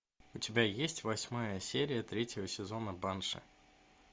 у тебя есть восьмая серия третьего сезона банши